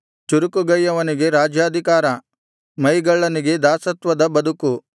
ಚುರುಕುಗೈಯವನಿಗೆ ರಾಜ್ಯಾಧಿಕಾರ ಮೈಗಳ್ಳನಿಗೆ ದಾಸತ್ವದ ಬದುಕು